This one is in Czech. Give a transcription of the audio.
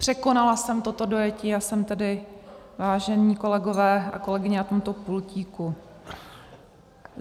Překonala jsem toto dojetí a jsem tedy, vážení kolegové a kolegyně, u tohoto pultíku.